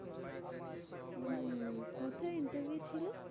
উম হম কোথায় interview ছিল?